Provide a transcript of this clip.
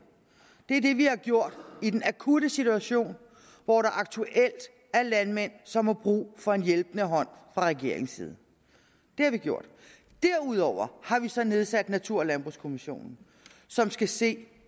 er det vi har gjort i den akutte situation hvor der aktuelt er landmænd som har brug for en hjælpende hånd fra regeringens side det har vi gjort derudover har vi så nedsat natur og landbrugskommissionen som skal se